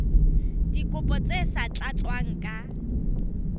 dikopo tse sa tlatswang ka